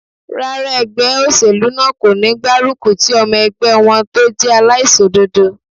Rárá, ẹgbẹ́ óṣèlú náà kò ní gbárùkù ti ọmọ ẹgbẹ́ wọn tó jẹ́ aláìṣòdodo